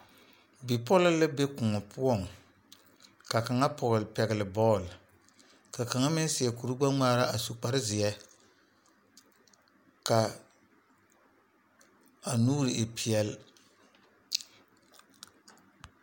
Bipoɔlɔ la be koɔ poɔŋ, ka kaŋa. pɛgeli bɔl ka kaŋa meŋ seɛ kuri gbɛ ŋmaa a su kpare zeɛ kaa a nuuri e pɛɛle .